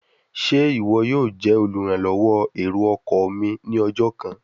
Ṣe iwọ yoo jẹ oluranlọwọ ero-ọkọ mi ni ọjọ kan?